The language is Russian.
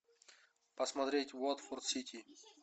посмотреть уотфорд сити